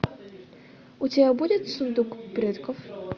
у тебя будет сундук предков